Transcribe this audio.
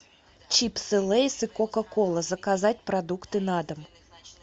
чипсы лейс и кока кола заказать продукты на дом